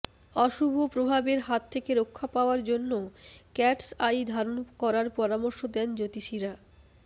অশুভ প্রভাবের হাত থেকে রক্ষা পাওয়ার জন্য ক্যাটস আই ধারণ করার পরামর্শ দেন জ্যোতিষীরা